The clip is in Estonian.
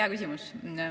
Hea küsimus.